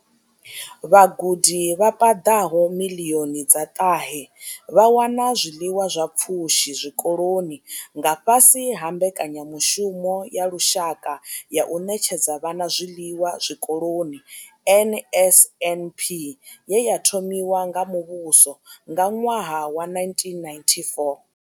Vhagudi vha paḓaho miḽioni dza ṱahe vha wana zwiḽiwa zwa pfushi zwikoloni nga fhasi ha mbekanyamushumo ya lushaka ya u ṋetshedza vhana zwiḽiwa zwikoloni NSNP ye ya thomiwa nga muvhuso nga ṅwaha wa 1994.